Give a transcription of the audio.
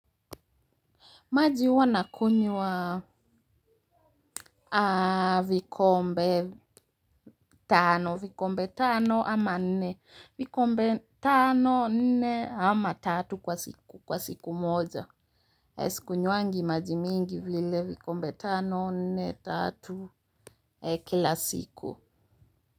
Maji huwa nakunywa vikombe tano, vikombe tano ama nne, vikombe tano, nne ama tatu kwa siku moja. Sikunywangi maji mingi vile vikombe tano, nne, tatu kila siku.